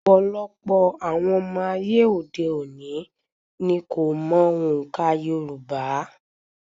Ọ̀pọ̀lọpọ̀ àwọn ọmọ ayé òde òni ni kò mọ òǹkà Yorùbá.